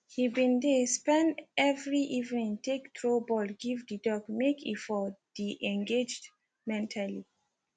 he been de spend every evening take throw ball give the dog make e for the engaged mentally